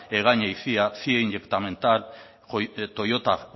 orbea egaña y cia cie inyectametal